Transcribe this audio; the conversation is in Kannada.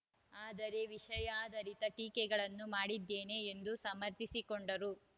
ಆದರೆ ವಿಷಯಾಧಾರಿತ ಟೀಕೆಗಳನ್ನು ಮಾಡಿದ್ದೇನೆ ಎಂದು ಸಮರ್ಥಿಸಿಕೊಂಡರು